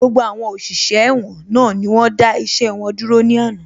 Gbogbo àwọn òṣìṣẹ́ ẹ̀wọ̀n náà ni wọ́n dá iṣẹ́ wọn dúró ní àná